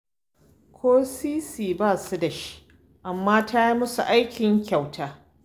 Ko sisi ba su da shi, amma ta yi musu aikin kyauta